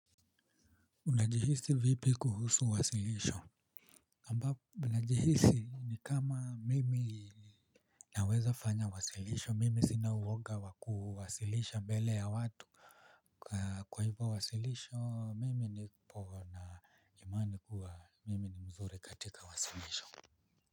Unajihisi vipi kuhusu wasilisho ambapo najihisi ni kama mimi naweza fanya wasilisho mimi sina woga wa kuwasilisha mbele ya watu kwa hivyo wasilisho mimi nipo na imani kuwa mimi ni mzuri katika wasilisho.